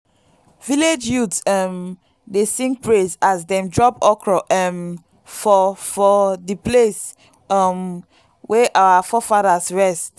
village youths um dey sing praise as dem drop okro um for for the place um wey our forefathers rest.